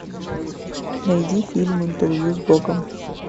найди фильм интервью с богом